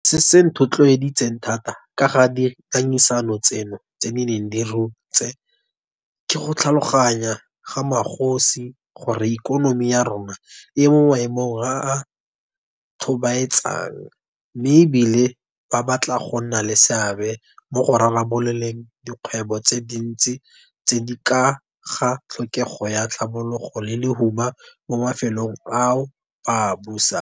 Morago ga gore re nne le dipuisano le go sekaseka ka kelotlhoko dintlha tsotlhe, NCCC e ne ya fetola mogopolo wa yona ka ga go rekisiwa ga motsoko.